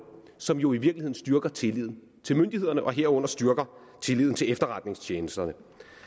som jo i virkeligheden styrker tilliden til myndighederne og herunder styrker tilliden til efterretningstjenesterne